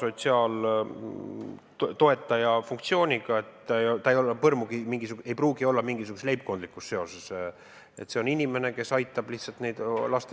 sotsiaaltoetaja funktsiooniga inimene, kellel ei pruugi olla seal põrmugi mingisugust leibkondlikku seost, vaid see on inimene, kes aitab lihtsalt laste eest hoolitseda.